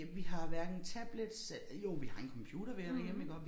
Ja vi har hverken tablets øh jo vi har en computer hver derhjemme iggå